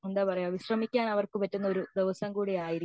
എന്താ പറയാ വിശ്രമിക്കാൻ അവർക്കു പറ്റുന്ന ഒരു ദിവസം കൂടി ആയിരിക്കും